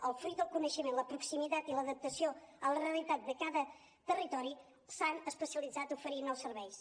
o fruit del coneixement la proximitat i l’adaptació a la realitat de cada territori s’han especialitzat a oferir nous serveis